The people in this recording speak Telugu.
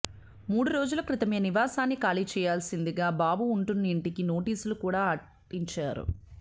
మూడు రోజుల క్రితమే నివాసాన్ని ఖాళీ చేయాల్సిందిగా బాబు ఉంటున్నఇంటికి నోటీసులు కూడా అంటించారు